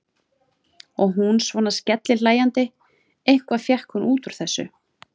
Og hún svona skellihlæjandi, eitthvað fékk hún út úr þessu.